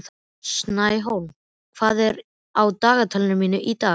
Snæhólm, hvað er á dagatalinu mínu í dag?